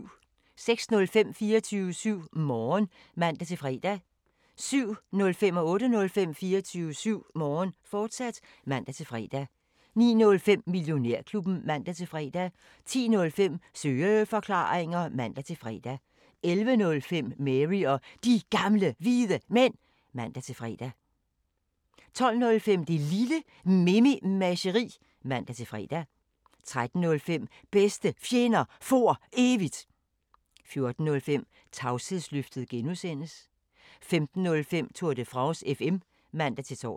06:05: 24syv Morgen (man-fre) 07:05: 24syv Morgen, fortsat (man-fre) 08:05: 24syv Morgen, fortsat (man-fre) 09:05: Millionærklubben (man-fre) 10:05: Søeforklaringer (man-fre) 11:05: Mary og De Gamle Hvide Mænd (man-fre) 12:05: Det Lille Mememageri (man-fre) 13:05: Bedste Fjender For Evigt 14:05: Tavshedsløftet G) 15:05: Tour de France FM (man-tor)